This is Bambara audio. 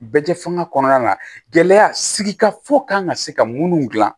Bɛɛ tɛ fanga kɔnɔna na gɛlɛya sigi kan ka se ka minnu dilan